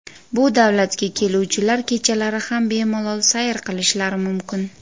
Bu davlatga keluvchilar kechalari ham bemalol sayr qilishlari mumkin.